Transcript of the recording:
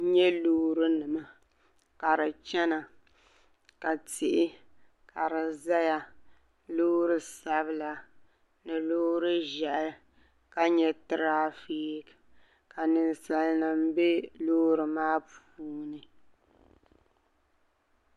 N yɛ loori ni ma ka di chɛna ka tihi ka di zaya loori sabila loori ʒɛhi ka yɛ trafficki ka ninsali nim bɛ loori maa puuni.